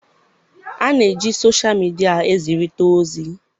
A na-eji soshal midia ezirita ozi.